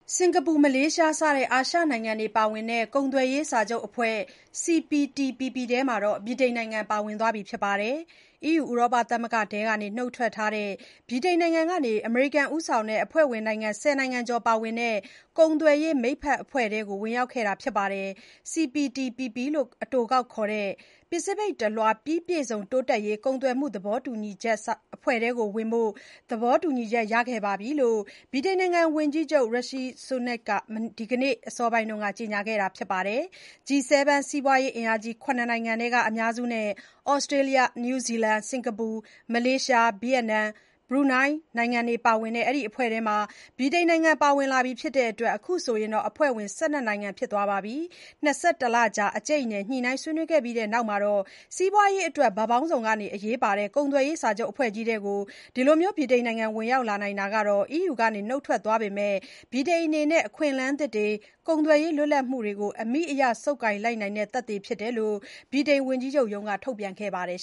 စင်္ကာပူ၊ မလေးရှားစတဲ့ အာရှနိုင်ငံတွေပါဝင်တဲ့ ကုန်သွယ်ရေးစာချုပ်အဖွဲ့ CPTPP ထဲမှာ ဗြိတိန်နိုင်ငံပါဝင်သွားပါပြီ။ EU ဥရောပသမဂ္ဂထဲက နှုတ်ထွက်ထားတဲ့ ဗြိတိန်နိုင်ငံက အမေရိကန်ဦးဆောင်တဲ့ အဖွဲ့ဝင်နိုင်ငံ ၁၀ နိုင်ငံကျော်ပါဝင်တဲ့ ကုန်သွယ်ရေးမိတ်ဖက်အဖွဲ့ထဲကို ဝင်ရောက်ခဲ့တာဖြစ်ပါတယ်၊ CPTPP လို့ အတိုခေါက်ခေါ်တဲ့ ပစိဖိတ်တလွှား ပြီးပြည့်စုံတိုးတက်ရေး ကုန်သွယ်မှုသဘောတူချက်အဖွဲ့ထဲဝင်ဖို့ သဘောတူချက်ရခဲ့ပြီလို့ ဝန်ကြီးချုပ် Rishi Sunak က ဒီနေ့ အစောပိုင်းက ကြေညာခဲ့ပါတယ်။ G7 စီးပွားရေးအင်အားကြီး ၇ နိုင်ငံထဲက အများစုနဲ့ သြစတေးလျ၊ နယူးဇီလန်၊ စင်္ကာပူ၊ မလေးရှား၊ ဗီယက်နမ်၊ ဘရူနိုင်းတို့ ပါဝင်တဲ့ ဒီအဖွဲထဲ ဗြိတိန်နိုင်ငံပါဝင်လာပြီဖြစ်တဲ့အတွက် အခုဆို အဖွဲ့ဝင် ၁၂ နိုင်ငံဖြစ်သွားပါပြီ။ ၂၁ လကြာ အကြိတ်အနယ် ညှိနှိုင်းဆွေးနွေးခဲ့ကြပြီးနောက် စီးပွားရေးအတွက် ဘက်ပေါင်းစုံက အရေးပါတဲ့ ကုန်သွယ်ရေးစာချုပ်အဖွဲ့ကြီးထဲ ဗြိတိန်နိုင်ငံ ဝင်ရောက်နိုင်လိုက်တာဟာ EU ကနှုတ်ထွက်ထားပေမဲ့ ဗြိတိန်အနေနဲ့ အခွင့်အလမ်းသစ်တွေ၊ ကုန်သွယ်ရေးလွတ်လပ်မှုတွေကို အမိအရ ဆုပ်ကိုင်လိုက်နိုင်တဲ့ သက်သေဖြစ်တယ်လို့ ဗြိတိန်ဝန်ကြီးချုပ်ရုံးက ထုတ်ပြန်ခဲ့ပါတယ်